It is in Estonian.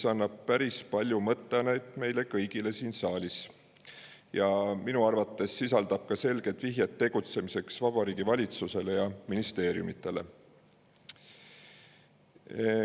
See annab päris palju mõtteainet meile kõigile siin saalis ja minu arvates sisaldab ka selget vihjet tegutsemiseks Vabariigi Valitsusele ja ministeeriumidele.